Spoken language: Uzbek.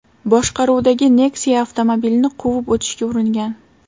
boshqaruvidagi Nexia avtomobilni quvib o‘tishga uringan.